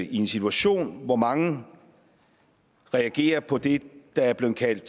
at i en situation hvor mange reagerer på det der er blevet kaldt